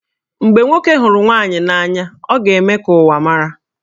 Mgbe nwoke hụrụ nwaanyị n'anya, ọ ga-eme ka ụwa mara